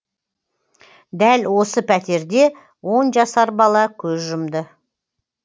дәл осы пәтерде он жасар бала көз жұмды